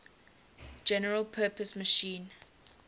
general purpose machine